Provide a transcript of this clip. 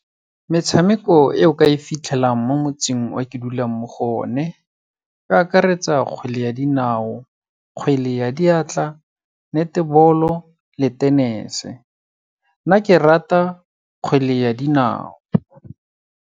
Metshameko e o ka e fitlhelang mo motseng o ke dulang mo go o ne, o akaretsa kgwele ya dinao, kgwele ya diatla, netball-o le tenese. Nna ke rata kgwele ya dinao.